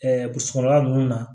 burusi kɔnɔna ninnu na